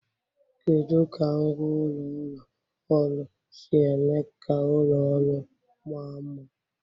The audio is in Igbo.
Kedu ka ngwá ụlọ ụlọ ọrụ si eme ka ụlọ ọrụ maa mma?